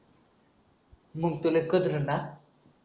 मंग तर